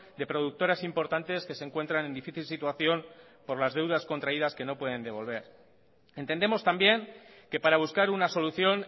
de productoras importantes que se encuentran en difícil situación por las deudas contraídas que no pueden devolver entendemos también que para buscar una solución